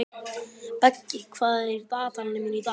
Beggi, hvað er í dagatalinu mínu í dag?